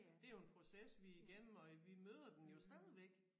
Det jo en proces vi igennem og vi møder den jo stadigvæk